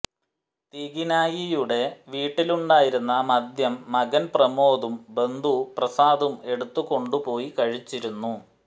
തിഗിനായിയുടെ വീട്ടിലുണ്ടായിരുന്ന മദ്യം മകൻ പ്രമോദും ബന്ധു പ്രസാദും എടുത്തുകൊണ്ടുപോയി കഴിച്ചിരുന്നു